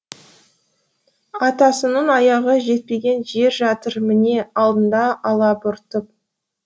атасының аяғы жетпеген жер жатыр міне алдында алабұртып